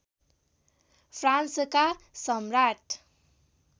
फ्रान्सका सम्राट